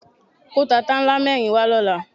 Kó tata ńlá mẹ́rin wá lọ́la.